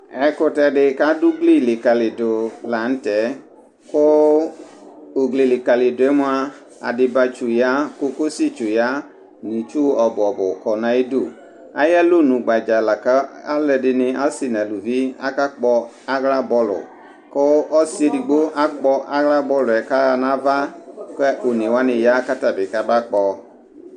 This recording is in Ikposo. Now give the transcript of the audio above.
ɛkutɛ di kadu ugli likalidu la n'tɛ ku ugli likalidue mʋa, adibatsu ya, kokosi ya, n'itsu ɔbu ɔbu kɔ n'ayidu ayalɔnu gbadzaa la alu ɛdini ɔsi n'ulivi aka aɣla bɔlu ku ɔsi edigbo akpɔ aɣla bɔluɛ ku aɣa n'ava, ku one wʋani ya kata bi kam'akpɔ